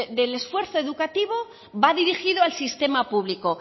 del esfuerzo educativo va dirigido al sistema público